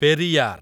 Periyar